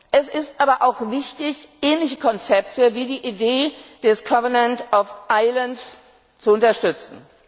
Es ist aber auch wichtig, ähnliche Konzepte wie die Idee des Covenant of Islands zu unterstützen.